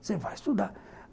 Você vai estudar.